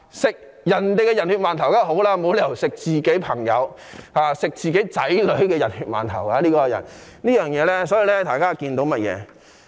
吃別人的"人血饅頭"當然好，總沒有理由吃自己朋友或子女的"人血饅頭"，所以大家可知一二。